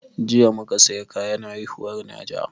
Jiya muka saya kayan haihuwar najah